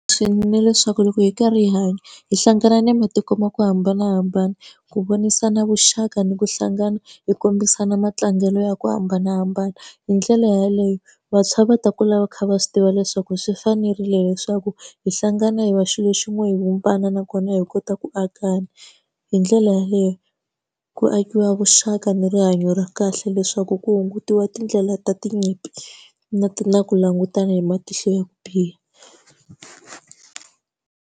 Swi leswaku loko hi karhi hi hanya hi hlangana na matiko ma ku hambanahambana, ku vonisa na vuxaka ni ku hlangana hi kombisana matlangelo ya ku hambanahambana. Hi ndlela yaleyo vantshwa va ta kula va kha va swi tiva leswaku swi fanerile leswaku hi hlangana hi va xilo xin'we hi vumbana nakona hi kota ku akana. Hi ndlela yaleyo ku akiwa vuxaka ni rihanyo ra kahle leswaku ku hungutiwa tindlela ta tinyimpi, na na ku langutana hi matihlo ya ku biha.